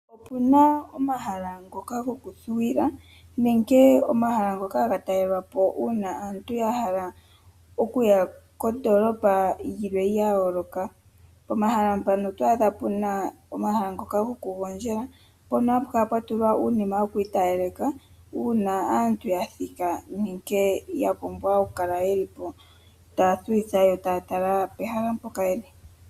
Opuna omahala ngoka gokuthuwila nenge omahala ngoka haga talelwa po uuna aantu ya hala okuya kondoolopa yilwe ya yooloka. Pomahala mpano oto adha puna omahala ngoka gokugondjela mpono hapu kala pwa tulwa uunima wokwiitalaleka uuna aantu ya thika nenge ya pumbwa oku kala yeli po taya thuwa nenge taya tala pehala mpoka yeli.